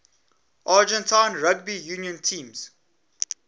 argentine rugby union teams